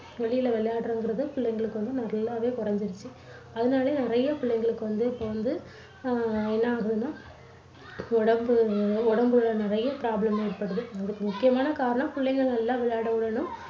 வெளியில விளையாடறதுங்குறது பிள்ளைங்களுக்கு வந்து நல்லாவே குறைஞ்சுடுச்சு. அதனாலயே நிறைய பிள்ளைங்களுக்கு வந்து இப்போ வந்து அஹ் என்ன ஆகுதுன்னா உடம்பு உடம்புல நிறைய problem ஏற்படுது. அதுக்கு முக்கியமான காரணம் பிள்ளைங்களை நல்லா விளையாட விடணும்.